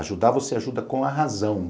Ajudar você ajuda com a razão.